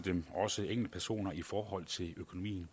dem også enkeltpersoner i forhold til økonomien